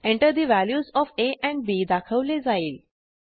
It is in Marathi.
Enter the values of a and b दाखवले जाईल